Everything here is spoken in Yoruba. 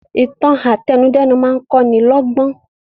Ìtàn àtẹnudẹ́nu máa kọ́ ni lọ́gbọ́n